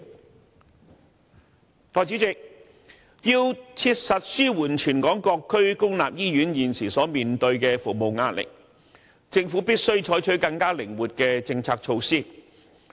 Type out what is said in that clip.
代理主席，要切實紓緩全港各區公立醫院現時所面對的服務壓力，政府必須採取更靈活的政策措施。